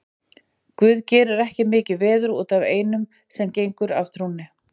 Guð gerir ekki mikið veður út af einum sem gengur af trúnni.